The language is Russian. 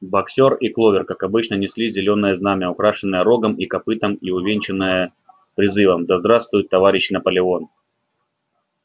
боксёр и кловер как обычно несли зелёное знамя украшенное рогом и копытом и увенчанное призывом да здравствует товарищ наполеон